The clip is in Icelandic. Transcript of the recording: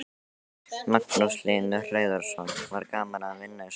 Magnús Hlynur Hreiðarsson: Var gaman að vinna í svona verkefni?